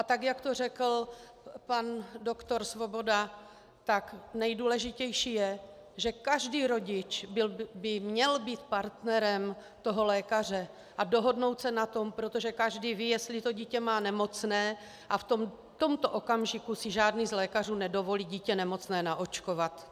A tak jak to řekl pan doktor Svoboda, tak nejdůležitější je, že každý rodič by měl být partnerem toho lékaře a dohodnout se na tom, protože každý ví, jestli to dítě má nemocné, a v tomto okamžiku si žádný z lékařů nedovolí dítě nemocné naočkovat.